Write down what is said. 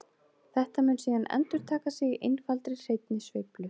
Þetta mun síðan endurtaka sig í einfaldri hreinni sveiflu.